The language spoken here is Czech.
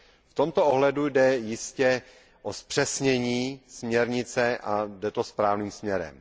V tomto ohledu jde jistě o zpřesnění směrnice a jde to správným směrem.